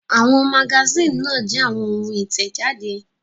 Àwọn magasínì náà jẹ́ àwọn ohun ìtẹ̀jáde.